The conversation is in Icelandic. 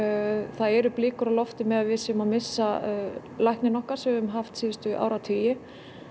það eru blikur á lofti með að við séum að missa lækninn okkar sem við höfum haft síðustu áratugi